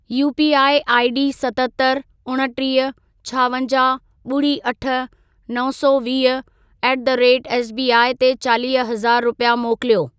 UPI ID सतहतरि, उणटीह, छावंजाहु, ॿुड़ी अठ, नव सौ वीह ऍट द रेट एसबीआई ते चालीह हज़ार रुपिया मोकिलियो।